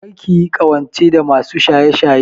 Kar ki yi ƙawance da masu shaye-shaye!